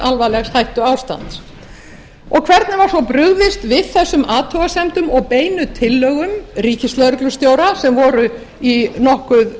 alvarlegs hættuástands hvernig var svo brugðist við þessum athugasemdum og beinu tillögum ríkislögreglustjóra sem voru við nokkuð